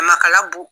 Makala b'o